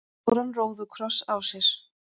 stóran róðukross á sér.